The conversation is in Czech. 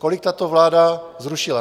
Kolik tato vláda zrušila?